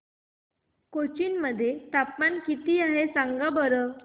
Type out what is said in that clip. कोचीन मध्ये तापमान किती आहे सांगा बरं